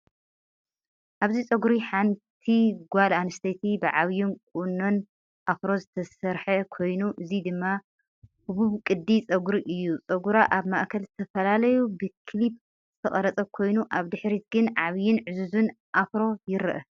ኣብዚ ጸጉሪ ሓንቲ ጓል ኣንስተይቲ ብዓቢን ቁኖናኖ ኣፍሮ ዝተሰርሐ ኮይኑ፡ እዚ ድማ ህቡብ ቅዲ ጸጉሪ እዩ። ጸጉራ ኣብ ማእከል ተፈላልዩ ብክሊፕ ዝተቐርጸ ኮይኑ፡ ኣብ ድሕሪት ግን ዓቢን ዕዙዝን ኣፍሮ ይርአ።